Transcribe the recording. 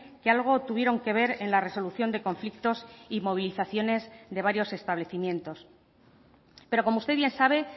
que algo tuvieron que ver en la resolución de conflictos y movilizaciones de varios establecimientos pero como usted bien sabe